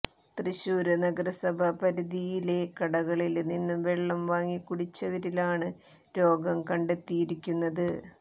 തൃശ്ശൂര് നഗരസഭാ പരിധിയിലെ കടകളില് നിന്ന് വെള്ളം വാങ്ങി കുടിച്ചവരിലാണ് രോഗം കണ്ടെത്തിയിരിക്കുന്നത്